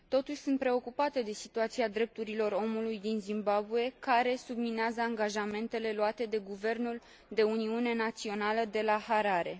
Totuși, sunt preocupată de situația drepturilor omului din Zimbabwe, care subminează angajamentele luate de guvernul de uniune națională de la Harare.